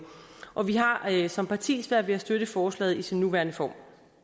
og vi har har som parti svært ved at støtte forslaget i dets nuværende form